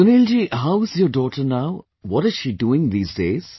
Sunil ji, how is your daughter now, what is she doing these days